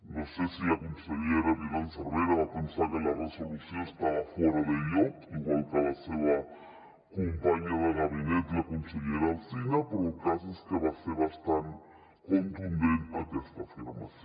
no sé si la consellera violant cervera va pensar que la resolució estava fora de lloc igual que la seva companya de gabinet la consellera alsina però el cas és que va ser bastant contundent aquesta afirmació